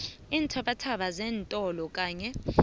iinthabathaba zeentolo kanye